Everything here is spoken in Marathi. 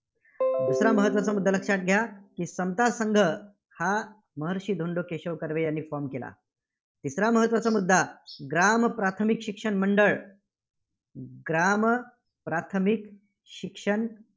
दुसरा महत्त्वाचा मुद्दा लक्षात घ्या. समता संघ हा महर्षी धोंडो केशव कर्वे यांनी form केला. तिसरा महत्त्वाचा मुद्दा ग्राम प्राथमिक शिक्षण मंडळ ग्राम प्राथमिक शिक्षण